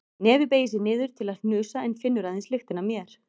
Nefið beygir sig niður til að hnusa en finnur aðeins lyktina af mér.